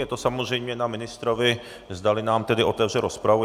Je to samozřejmě na ministrovi, zdali nám tedy otevře rozpravu.